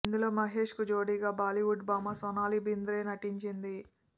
ఇందులో మహేష్ కు జోడీగా బాలీవుడ్ భామ సొనాలీ బెంద్రే నటించింది